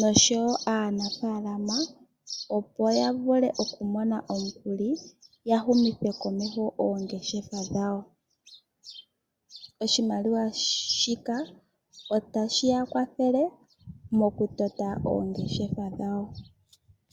noshowo aanafaalama , opo yavule okumona omukuli ya humithe komeho oongeshefa dhawo. Oshimaliwa shika otashi ya kwathele mokutota oongeshefa dhawo.